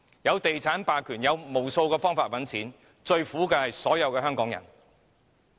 透過地產霸權，他們有無數方法賺錢，最苦的是所有香港人。